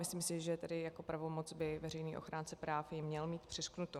Myslím si, že tady jako pravomoc by veřejný ochránce práv ji měl mít přiřknutou.